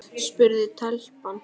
spurði telpan.